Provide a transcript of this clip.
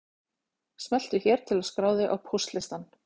Smelltu hér til að skrá þig á póstlistann